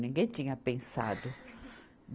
Ninguém tinha pensado.